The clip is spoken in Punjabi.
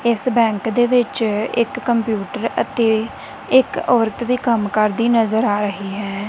ਇਸ ਬੈਂਕ ਦੇ ਵਿੱਚ ਇੱਕ ਕੰਪਿਊਟਰ ਅਤੇ ਇੱਕ ਔਰਤ ਵੀ ਕੰਮ ਕਰਦੀ ਨਜ਼ਰ ਆ ਰਹੀ ਹੈ।